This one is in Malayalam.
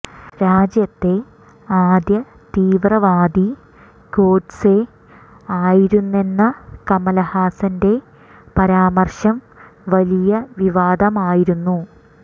രാജ്യത്തെ ആദ്യ തീവ്രവാദി ഗോഡ്സെ ആയിരുന്നെന്ന കമൽഹാസന്റെ പരാമർശം വലിയ വിവാദമായിരുന്നു